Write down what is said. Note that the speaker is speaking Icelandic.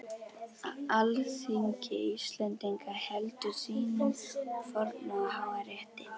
Alþingi Íslendinga heldur sínum forna og háa rétti!